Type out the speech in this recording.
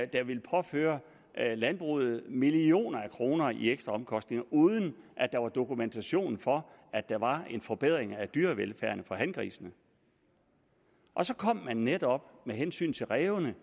der ville påføre landbruget millioner af kroner i ekstraomkostninger uden at der var dokumentation for at der var en forbedring af dyrevelfærden for hangrisene og så kom man netop med hensyn til rævene